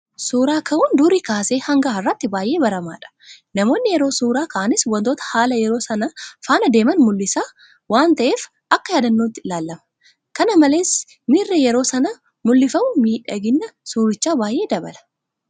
Suura ka'uun durii kaasee ganga har'aatti baay'ee baramaadha. Namoonni yeroo suura ka'anis waantota haala yeroo sanaa faana deeman mul'isaa waan ta'eef akka yaadannootti ilaalama. Kana malees miirri yeroo sana mul'ifamu miidhagina suurichaa baay'ee dabala.